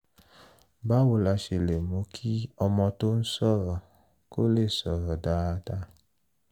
báwo la ṣe lè mú kí ọmọ tó ń sọ̀rọ̀ kò lè sọ̀rọ̀ dáadáa?